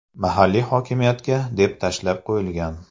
Mahalliy hokimiyatga deb tashlab qo‘yilgan.